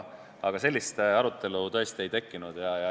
Sellist arutelu meil ei tekkinud.